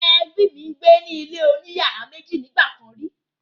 Ẹbí mi gbé ní ilé oní yàrá méjì nígbà kàn rí.